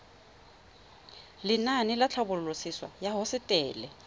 lenaane la tlhabololosewa ya hosetele